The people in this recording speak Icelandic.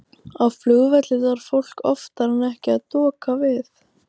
Á flugvelli þarf fólk oftar en ekki að doka við.